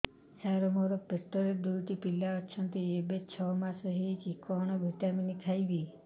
ସାର ମୋର ପେଟରେ ଦୁଇଟି ପିଲା ଅଛନ୍ତି ଏବେ ଛଅ ମାସ ହେଇଛି କଣ ଭିଟାମିନ ଖାଇବି